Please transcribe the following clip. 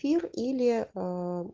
фильм или